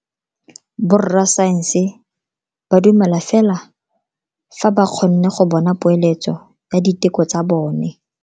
Borra saense ba dumela fela fa ba kgonne go bona poeletso ya diteko tsa bone.